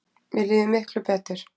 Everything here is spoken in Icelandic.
Mér líður miklu betur